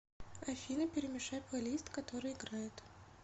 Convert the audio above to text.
афина перемешай плейлист который играет